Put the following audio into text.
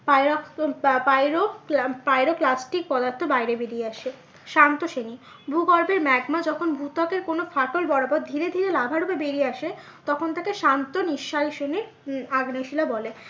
pyroclastic পদার্থ বাইরে বেরিয়ে আসে। শান্ত শ্রেণী ভূগর্ভে ম্যাগমা যখন ভূত্বকের কোনো ফাটল বরাবর ধীরে ধীরে লাভা রূপে বেরিয়ে আসে তখন তাকে শান্ত নিঃসারী শ্রেণীর উম আগ্নেয় শিলা বলে।